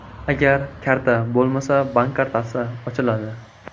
Agar karta bo‘lmasa, bank kartasi ochiladi.